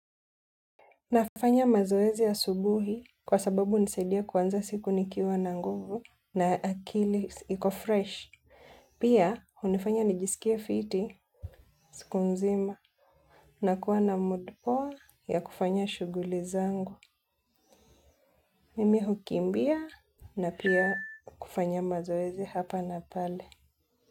Nafanya mazoezi asubuhi kwa sababu hunisaidia kuanza siku nikiwa na nguvu na akili iko fresh. Pia, hunifanya nijisikie fiti, siku nzima. Nakuwa na mood poa ya kufanya shughuli zangu. Mimi hukimbia na pia kufanya mazoezi hapa na pale.